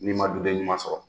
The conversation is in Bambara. N'i ma duden ɲuman sɔrɔ.